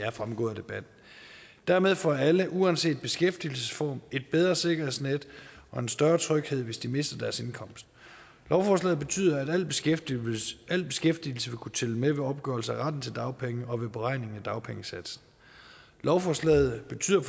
er fremgået af debatten dermed får alle uanset beskæftigelsesform et bedre sikkerhedsnet og en større tryghed hvis de mister deres indkomst lovforslaget betyder at al beskæftigelse al beskæftigelse vil kunne tælle med ved opgørelse af retten til dagpenge og ved beregning af dagpengesatsen lovforslaget betyder